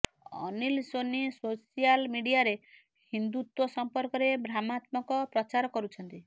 Anil Soni social ମିଡିଆରେ ହିନ୍ଦୁତ୍ୱ ସଂପର୍କରେ ଭ୍ରାମାତ୍ମକ ପ୍ରଚାର କରୁଛନ୍ତି